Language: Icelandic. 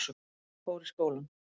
Fór í skólann.